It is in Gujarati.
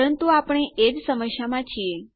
પરંતુ આપણે એજ સમસ્યામાં છીએ